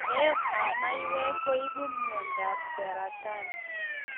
Eeet ap maiywek kuipu mnyondo ap saratani